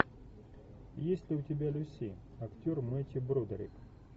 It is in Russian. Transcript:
есть ли у тебя люси актер мэттью бродерик